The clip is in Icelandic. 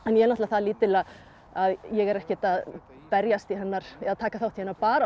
náttúrulega það lítil að ég er ekkert að berjast í hennar eða taka þátt í hennar baráttu